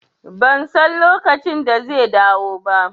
Ban san lokacin da zai dawo ba